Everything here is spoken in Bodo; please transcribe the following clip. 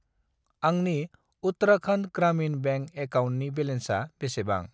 आंनि उत्तराखन्ड ग्रामिन बेंक एकाउन्टनि बेलेन्सा बेसेबां?